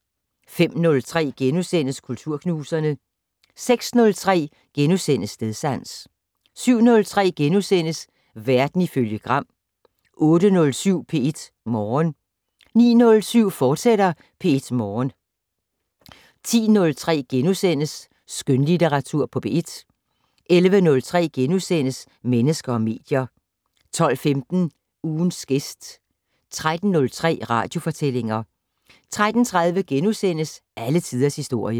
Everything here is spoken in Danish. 05:03: Kulturknuserne * 06:03: Stedsans * 07:03: Verden ifølge Gram * 08:07: P1 Morgen 09:07: P1 Morgen, fortsat 10:03: Skønlitteratur på P1 * 11:03: Mennesker og medier * 12:15: Ugens gæst 13:03: Radiofortællinger 13:30: Alle tiders historie *